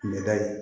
Kun bɛ da ye